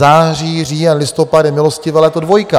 Září, říjen, listopad je milostivé léto dvojka.